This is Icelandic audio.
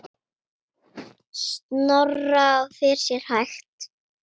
Snorra og fer sér hægt.